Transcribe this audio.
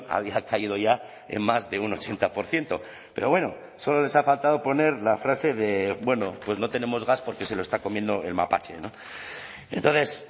había caído ya en más de un ochenta por ciento pero bueno solo les ha faltado poner la frase de bueno pues no tenemos gas porque se lo está comiendo el mapache entonces